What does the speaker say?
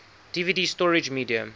dvd storage media